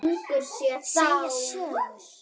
Segja sögur.